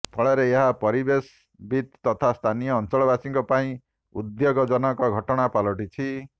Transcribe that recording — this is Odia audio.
ଫଳରେ ଏହା ପରିବେଶବିତ୍ ତଥା ସ୍ଥାନୀୟ ଅଞ୍ଚଳବାସୀଙ୍କ ପାଇଁ ଉଦ୍ବେଗଜନକ ଘଟଣା ପାଲଟିଛି